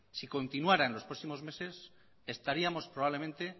si continuara en los próximos meses estaríamos probablemente